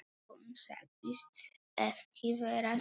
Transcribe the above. Hún sagðist ekki vera svöng.